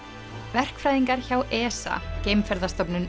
verkfræðingar hjá ESA